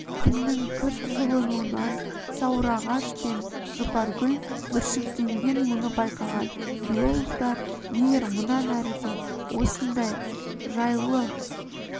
күннің күрт жылынуынан сауырағаш пен жұпаргүл бүршіктенген мұны байқаған биологтар егер мұнан әрі де осындай жайлы